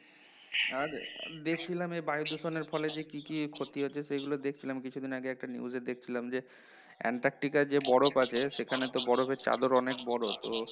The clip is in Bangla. আর দেখছিলাম এই বায়ু দূষণের ফলে যে কি কি ক্ষতি হচ্ছে সেগুলো দেখছিলাম কিছুদিন আগে একটা news এ দেখছিলাম যে এন্টার্কটিকায় যে বরফ আছে সেখানে তো বরফের চাদর অনেক বড় তো